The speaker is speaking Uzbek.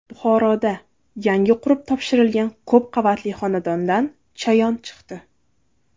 Buxoroda yangi qurib topshirilgan ko‘p qavatli xonadondan chayon chiqdi.